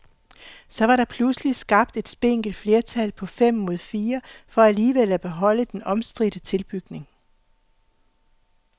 Så var der pludselig skabt et spinkelt flertal på fem mod fire for alligevel at beholde den omstridte tilbygning.